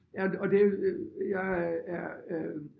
Ja og og det jeg er øh